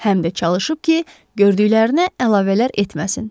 Həm də çalışıb ki, gördüklərinə əlavələr etməsin.